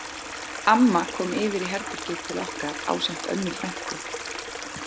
Amma kom yfir í herbergið til okkar ásamt Önnu frænku